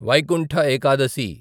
Vaikuntha Ekadashi